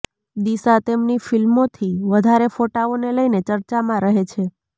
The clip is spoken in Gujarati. દિશા તેમની ફિલ્મોથી વધારે ફોટાઓ ને લઈને ચર્ચામાં રહે છે